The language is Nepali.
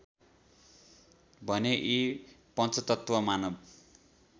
भने यी पञ्चतत्त्व मानव